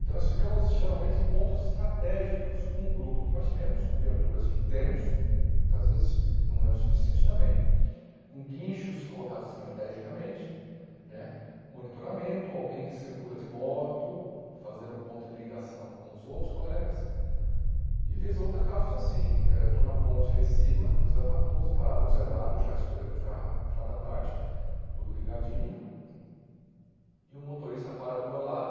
Então nós ficamos geralmente em pontos estratégicos com o grupo que nós temos, com viaturas que temos, muitas vezes não é o suficiente também, com guinchos colocados estrategicamente né, monitoramento, alguém que circula de moto, fazendo ponto de ligação com os outros colegas e vez ou outra casos assim, eh eu estou na ponte lá em cima, José Matoso parado no zebrado já escure já final da tarde, tudo ligadinho e um motorista para do meu lado,